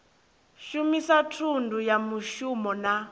shumisa thundu ya muvhuso na